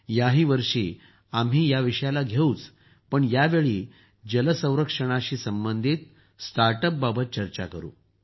याही वर्षी आम्ही या विषयाला घेऊ पण यावेळी जल संरक्षणाशी संबंधित स्टार्ट अपबाबत चर्चा करू